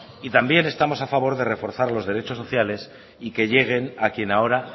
también estamos a favor de reforzar los derechos sociales y que lleguen a quien ahora